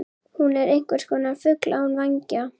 Hún er einhverskonar fugl án vængja.